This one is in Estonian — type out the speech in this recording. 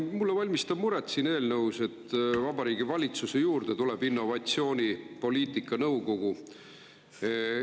Mulle valmistab siin eelnõus muret see, et Vabariigi Valitsuse juurde tuleb innovatsioonipoliitika nõukogu.